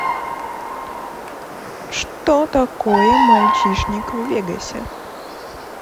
что такое мальчишник в вегасе